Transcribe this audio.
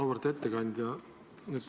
Auväärt ettekandja!